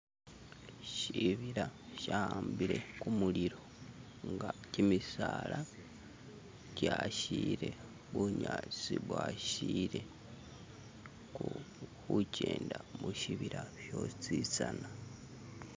Shibila shahabile kumulilo nga kyimisaala kyashile bunyaasi bwashile kuhukyenda mushibila shositsana